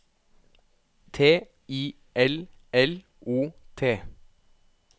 T I L L O T